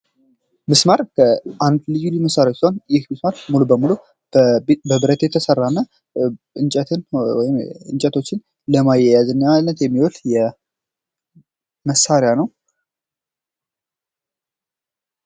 ሚስማር ልዩ ልዩ መሳሪያዎችን ይህ ሚስማር ሙሉ በሙሉ በብረት የተሰራና እንጨቶችን ለመያያዣነት የሚውል መሣሪያ ነው።